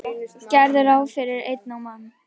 Gerðu ráð fyrir einni á mann.